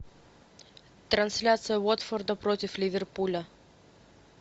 трансляция уотфорда против ливерпуля